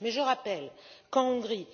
Mais je rappelle qu'en Hongrie,